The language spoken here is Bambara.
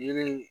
Yiri